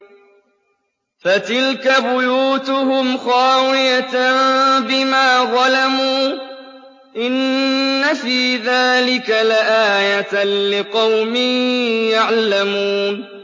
فَتِلْكَ بُيُوتُهُمْ خَاوِيَةً بِمَا ظَلَمُوا ۗ إِنَّ فِي ذَٰلِكَ لَآيَةً لِّقَوْمٍ يَعْلَمُونَ